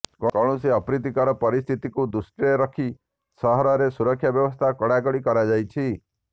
କୌଣସି ଅପ୍ରିତୀକର ପରିସ୍ଥିତିକୁ ଦୃଷ୍ଟିରେ ରଖି ସହରରେ ସୁରକ୍ଷା ବ୍ୟବସ୍ଥା କଡାକଡି କରାଯାଇଛି